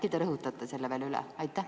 Äkki te rõhutate selle veel üle?